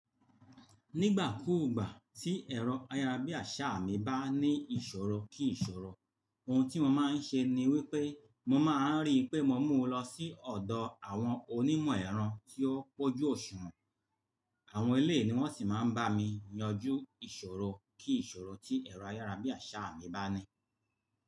Nígbà kúùgbà tí ẹ̀rọ ayárabíàṣá mi bá ní ìṣòro kí ìṣòro, ohun tí mo máa ń ṣe ni wípé mo máa ń rí pé mo mú un lọ sí ọ̀dọ̀ àwọn onímọ̀ ẹ̀rọ tí ó pọ́jú òṣùwọ̀n. Àwọn eleyii ni wọ́n sì máa ń bá mi yanjú ìṣòro kí ìṣòro tí ẹ̀rọ ayárabíàṣá mi bá ní.